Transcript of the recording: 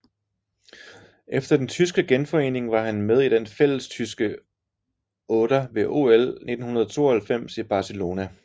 Efter den tyske genforening var han med i den fællestyske otter ved OL 1992 i Barcelona